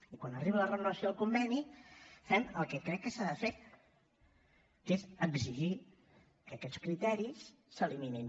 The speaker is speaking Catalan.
i quan arriba la renovació del conveni fem el que crec que s’ha de fet que és exigir que aquests criteris s’eliminin